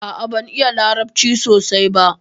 A'a, ban iya larabci sosai ɓa.